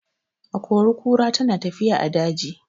Akori-kura tana tafiya a daji.